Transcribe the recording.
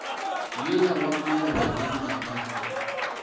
yola wa maloba le maabane